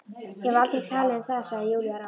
Ég hef aldrei talað um það, segir Júlía rám.